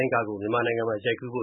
န်းတွေကို မြန်မာနိုင်ငံမှာ ရိုက်ကူးဖို